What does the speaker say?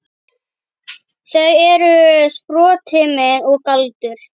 Þau eru sproti minn og galdur.